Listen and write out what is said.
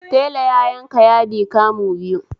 Tela ya yanka yadi kamu biyu